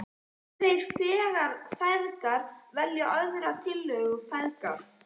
Þeir feðgar velja aðra tillögu Gerðar.